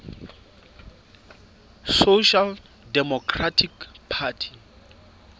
social democratic party